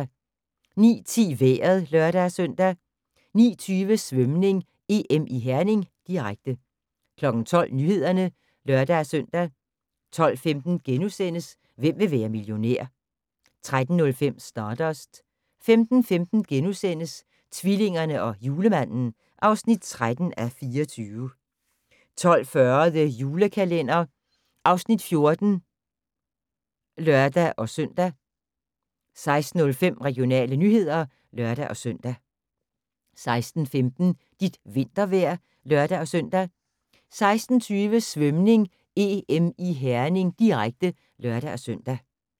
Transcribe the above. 09:10: Vejret (lør-søn) 09:20: Svømning: EM i Herning, direkte 12:00: Nyhederne (lør-søn) 12:15: Hvem vil være millionær? * 13:05: Stardust 15:15: Tvillingerne og Julemanden (13:24)* 15:40: The Julekalender (Afs. 14)(lør-søn) 16:05: Regionale nyheder (lør-søn) 16:15: Dit vintervejr (lør-søn) 16:20: Svømning: EM i Herning, direkte (lør-søn)